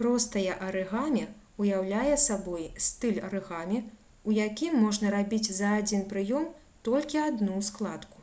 простае арыгамі ўяўляе сабой стыль арыгамі у якім можна рабіць за адзін прыём толькі адну складку